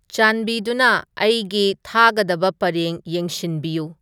ꯆꯥꯟꯕꯤꯗꯨꯅ ꯑꯩꯒꯤ ꯊꯥꯒꯗꯕ ꯄꯔꯦꯡ ꯌꯦꯡꯁꯤꯟꯕꯤꯌꯨ